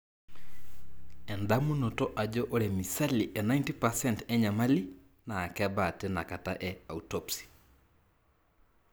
endamunoto ajo ore misali e 90% enyamali na kebaa tina kata te autopsy.